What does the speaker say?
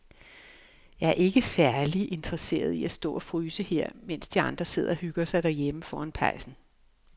Jeg er ikke særlig interesseret i at stå og fryse her, mens de andre sidder og hygger sig derhjemme foran pejsen.